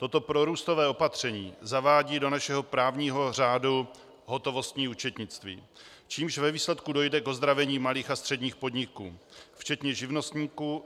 Toto prorůstové opatření zavádí do našeho právního řádu hotovostní účetnictví, čímž ve výsledku dojde k ozdravení malých a středních podniků včetně živnostníků.